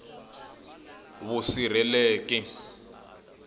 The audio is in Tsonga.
vusirheleki